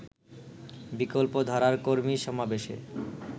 বিকল্পধারার কর্মী সমাবেশে